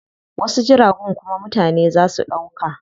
Wasu jiragun kuma mutane zaa su ɗauka.